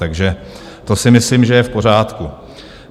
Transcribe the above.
Takže to si myslím, že je v pořádku.